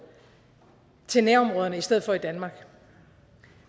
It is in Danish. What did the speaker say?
til nærområderne i stedet for i danmark